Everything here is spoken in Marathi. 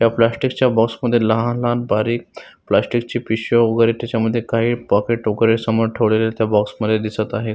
त्या प्लॅस्टिकच्या बॉक्समध्ये लहान लहान बारीक प्लॅस्टिकच्या पिशव्या वेगेरे त्याच्यामद्धे काही पॉकेट वेगेरे समोर ठेवलेल्या त्या बॉक्स मध्ये दिसत आहे.